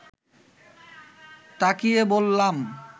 তাকিয়ে বললাম